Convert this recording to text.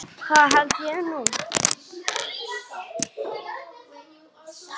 Það held ég nú.